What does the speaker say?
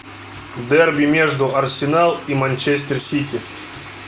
дерби между арсенал и манчестер сити